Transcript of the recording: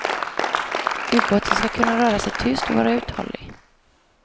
Ubåten ska kunna röra sig tyst och vara uthållig.